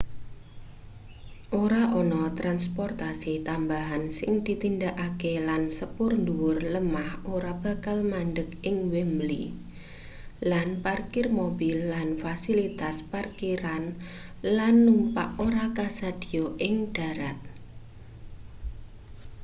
ora ana transportasi tambahan sing ditindakake lan sepur ndhuwur lemah ora bakal mandheg ing wembley lan parkir mobil lan fasilitas parkir-lan-numpak ora kasedhiya ing dharat